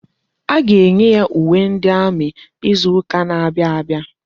A ga-enye ya uwe ndi amị izuka na-abịa abịa.